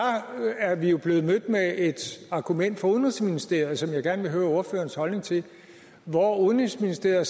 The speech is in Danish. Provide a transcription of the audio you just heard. er vi jo blevet mødt med et argument fra udenrigsministeriets side som jeg gerne vil høre ordførerens holdning til hvor udenrigsministeriet